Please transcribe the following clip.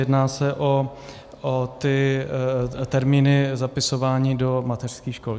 Jedná se o ty termíny zapisování do mateřských škol.